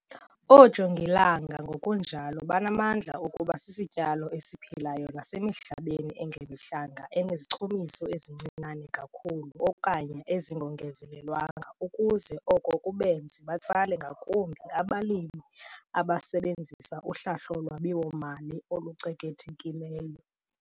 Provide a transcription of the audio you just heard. Oojongilanga ngokunjalo banamandla okuba sisityalo esiphilayo nasemihlabeni engemihlanga 'enezichumiso ezincinane kakhulu okanye ezingongezelelwanga' ukuze oko kubenze babatsale ngakumbi abalimi abasebenzisa uhlahlo lwabiwo-mali olucekethekileyo.